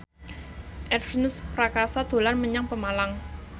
Ernest Prakasa dolan menyang Pemalang